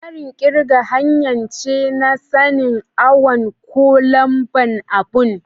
Tsarin kirga hanya ce na sani'n awon ko lamba'n abu.